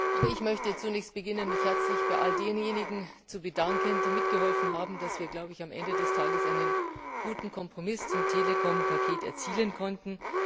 Auch ich möchte zunächst damit beginnen, mich bei all denjenigen zu bedanken, die mitgeholfen haben, dass wir am Ende des Tages einen guten Kompromiss zum Telekom Paket erzielen konnten.